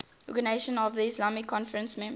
organisation of the islamic conference members